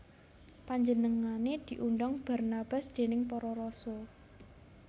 Panjenengané diundang Barnabas déning para rasul